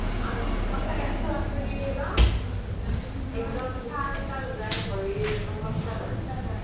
সচাকৈ চুৱা চুই ন একডম চাল তাল গৈ ভৰিৰ অৱস্থা নাই